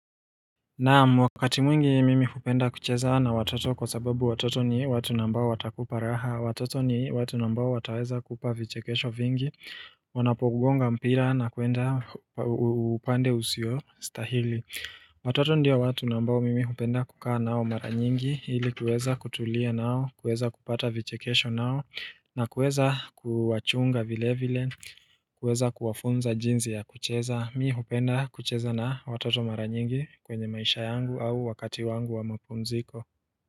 Naam, wakati mwingi mimi hupenda kucheza na watoto kwa sababu watoto ni watu ambao watakupa raha, watoto ni watu na ambao wataweza kupa vichekesho vingi, wanapogonga mpira na kuenda upande usio, stahili. Watoto ndio watu na ambao mimi hupenda kukaa nao mara nyingi, ili kueza kutulia nao, kueza kupata vichekesho nao, na kueza kuwachunga vile vile, kueza kuwafunza jinsi ya kucheza. Mimi hupenda kucheza na watoto mara nyingi kwenye maisha yangu au wakati wangu wa mapumziko.